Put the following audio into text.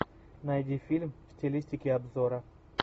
найди фильм в стилистике обзора